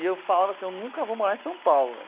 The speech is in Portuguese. E eu falava assim, eu nunca vou morar em São Paulo.